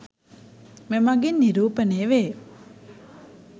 මෙමගින් නිරූපණය වේ.